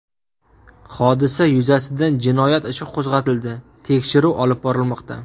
Hodisa yuzasidan jinoyat ishi qo‘zg‘atildi, tekshiruv olib borilmoqda.